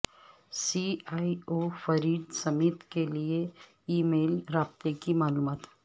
سی E O Fred Smith کے لئے email رابطے کی معلومات